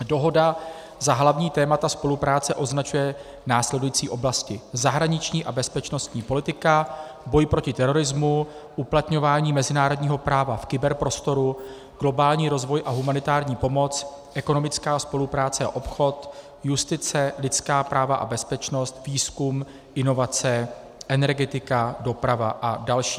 Dohoda za hlavní témata spolupráce označuje následující oblasti: zahraniční a bezpečnostní politika, boj proti terorismu, uplatňování mezinárodního práva v kyberprostoru, globální rozvoj a humanitární pomoc, ekonomická spolupráce a obchod, justice, lidská práva a bezpečnost, výzkum, inovace, energetika, doprava a další.